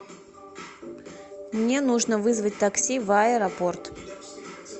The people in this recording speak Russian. мне нужно вызвать такси в аэропорт